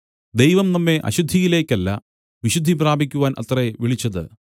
ദൈവം നമ്മെ അശുദ്ധിയിലേക്കല്ല വിശുദ്ധി പ്രാപിക്കുവാൻ അത്രേ വിളിച്ചത്